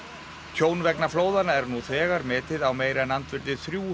tjón vegna flóðanna er nú þegar metið á meira en andvirði þrjú